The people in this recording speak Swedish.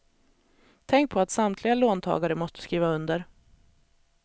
Tänk på att samtliga låntagare måste skriva under.